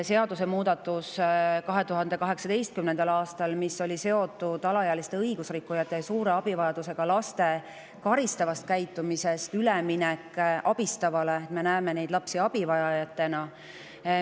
2018. aastal seadusemuudatus, mis oli seotud alaealiste õigusrikkujate ja suure abivajadusega lastega ning mille kohaselt lapsi karistavalt käitumiselt mindi üle abistavale: me näeme neid lapsi abivajajatena.